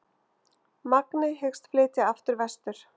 Magni hyggst flytja aftur vestur